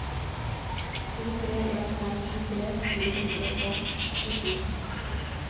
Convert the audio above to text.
to tre en fem tjuetre fire hundre og tjuesju